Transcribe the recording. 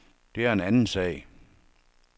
Det er en anden sag.